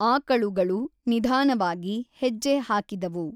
ಆಕಳುಗಳು ನಿಧಾನವಾಗಿ ಹೆಜ್ಜೆ ಹಾಕಿದವು.